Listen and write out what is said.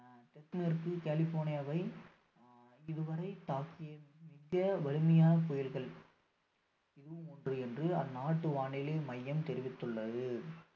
தென்மேற்கு கலிபோர்னியவை ஆஹ் இதுவரை தாக்கிய மிக வலிமையான புயல்கள் இதுவும் ஒன்னு என்று அந்நாட்டு வானிலை மையம் தெரிவித்துள்ளது